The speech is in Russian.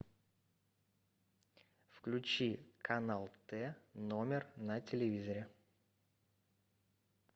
включи канал т номер на телевизоре